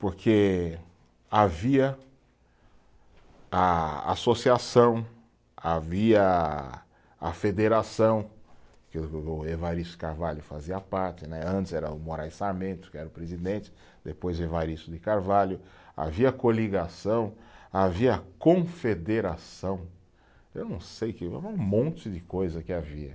porque havia a, a associação, havia a federação, que o o o Evaristo de Carvalho fazia parte né, antes era o Moraes Sarmentos, que era o presidente, depois o Evaristo de Carvalho, havia coligação, havia confederação, eu não sei que, eh um monte de coisa que havia.